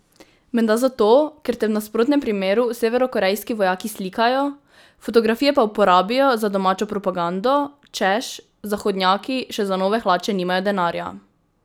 Menda zato, ker te v nasprotnem primeru severnokorejski vojaki slikajo, fotografije pa uporabijo za domačo propagando, češ, zahodnjaki še za nove hlače nimajo denarja!